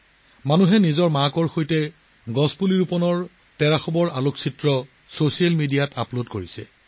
মানুহে মাকৰ সৈতে গছ ৰোপণ কৰাৰ ছবি ছ'চিয়েল মিডিয়াত শ্বেয়াৰ কৰিছে